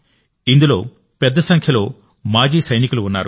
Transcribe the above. ఇందులో పెద్ద సంఖ్యలో మాజీ సైనికులు కూడా ఉన్నారు